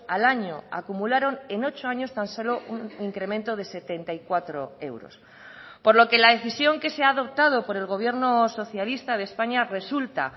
al año acumularon en ocho años tan solo un incremento de setenta y cuatro euros por lo que la decisión que se ha adoptado por el gobierno socialista de españa resulta